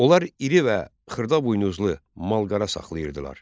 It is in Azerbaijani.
Onlar iri və xırda buynuzlu mal-qara saxlayırdılar.